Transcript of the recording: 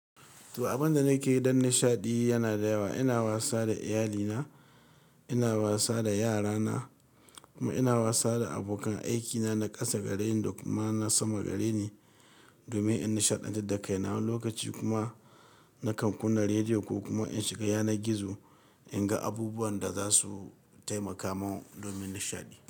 To, abin da nake yi don nishaɗi yana da yawa. Ina wasa da iyalina, ina wasa da yarana kuma ina wasa da abokan aikina na ƙasa gareni da kuma na sama gareni domin in nishaɗantu da kai na lokaci kuma na kam kuna rediyo ko kuma in shiga yanar gizo in ga abubuwan da za su taimaka mun domin nishaɗi.